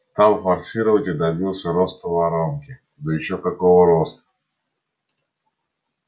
стал форсировать и добился роста воронки да ещё какого роста